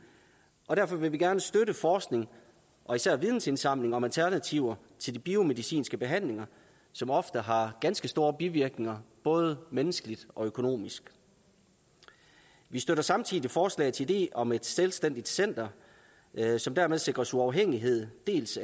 og derfor vil vi gerne støtte forskning og især vidensindsamling om alternativer til de biomedicinske behandlinger som ofte har ganske store bivirkninger både menneskeligt og økonomisk vi støtter samtidig forslagets idé om et selvstændigt center som dermed sikres uafhængighed af dels